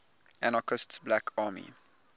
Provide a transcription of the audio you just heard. anarchist black army